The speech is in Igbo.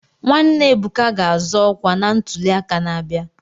Nwanne Ebuka ga-azọ ọkwa na ntuli aka na-abịa.